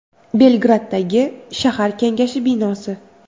Belgraddagi shahar kengashi binosi.